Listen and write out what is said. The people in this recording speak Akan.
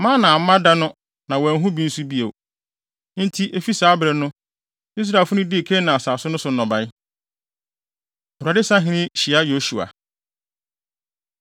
Mana amma da no na wɔanhu bi nso bio. Enti, efi saa bere no, Israelfo no dii Kanaan asase no so nnɔbae. Awurade Sahene Hyia Yosua